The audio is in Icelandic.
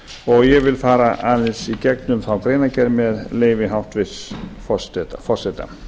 og ég vil fara aðeins í gegnum þá greinargerð með leyfi hæstvirts forseta